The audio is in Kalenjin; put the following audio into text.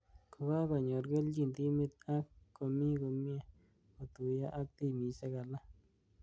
ko-kakonyor kelchin timit ak komii komyee kotuiyo ak timishek alak.